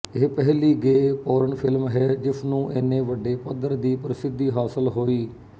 ਇਹ ਪਹਿਲੀ gay porn film ਹੈ ਜਿਸਨੂੰ ਏਨੇ ਵੱਡੇ ਪੱਧਰ ਦੀ ਪ੍ਰਸਿੱਧੀ ਹਾਸਲ ਹੋਈ